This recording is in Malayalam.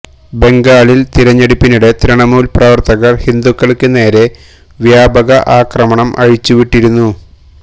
ബംഗാളില് തെരഞ്ഞെടുപ്പിനിടെ തൃണമൂല് പ്രവര്ത്തകര് ഹിന്ദുക്കള്ക്ക് നേരെ വ്യാപക ആക്രമണം അഴിച്ചുവിട്ടിരുന്നു